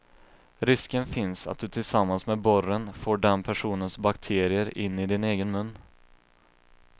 Risken finns att du tillsammans med borren får den personens bakterier in i din egen mun.